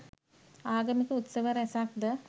ආගමික උත්සව රැසක් ද